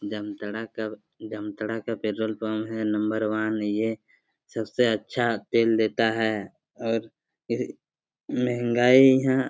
जामताड़ा का जामताड़ा का petrol pump है नंबर वन ये सब से अच्छा तेल देता है। और आहे महंगाई यहां।